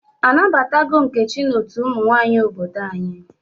A nabatago Nkechi n'otu ụmụ nwanyị obodo anyi?